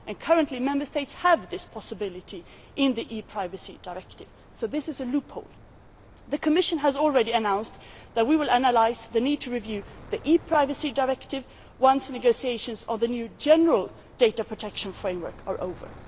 Currently Member States have this possibility in the ePrivacy Directive, so this is a loophole. The Commission has already announced that we will analyse the need to review the ePrivacy Directive once negotiations on the new general data protection framework are over.